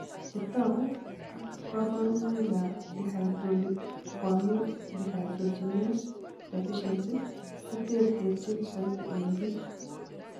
Chetogu ak kaborunoik ab dihydrolipoamide dehydrogenenase deficiency koterterchin soiti eng biik